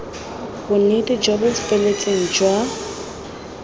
bonnete jo bo feletseng jwa